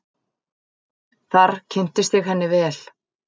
Þar kynntist ég henni vel.